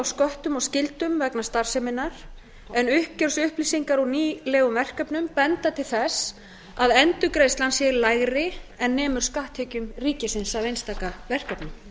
sköttum og skyldum vegna starfseminnar en uppgjörsupplýsingar úr nýlegum verkefnum benda til þess að endurgreiðslan sé lægri en nemur skatttekjum ríkisins af einstaka verkefnum